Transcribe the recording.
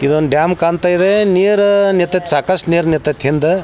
ಇದ್ ಒಂದ್ ಡ್ಯಾಮ್ ಕಾಂತಾ ಇದೆ ನೀರ್ ನಿಟ್ತೈತಿ ಸಾಕಷ್ಟು ನೀರ್ ನಿಂಥಓಥೈ ಹಿಂದ್-